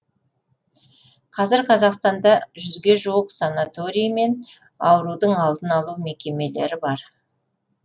қазір қазақстанда жүзге жуық санаторилар мен аурудың алдын алу мекемелері бар